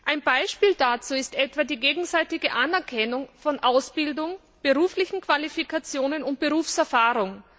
Ein Beispiel dazu ist etwa die gegenseitige Anerkennung von Ausbildung, beruflichen Qualifikationen und Berufserfahrung.